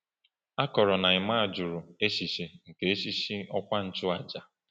A kọrọ na Emma jụrụ echiche nke echichi ọkwa nchụaja.